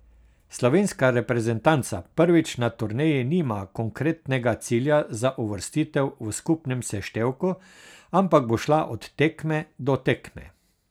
Slovenska reprezentanca prvič na turneji nima konkretnega cilja za uvrstitev v skupnem seštevku, ampak bo šla od tekme do tekme.